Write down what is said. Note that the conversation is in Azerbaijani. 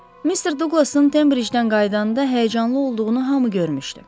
Mister Duqlasın Tembridjdən qayıdanda həyəcanlı olduğunu hamı görmüşdü.